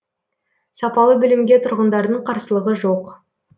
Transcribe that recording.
сапалы білімге тұрғындардың қарсылығы жоқ